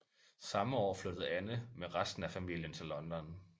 Samme år flyttede Anne med resten af familien til London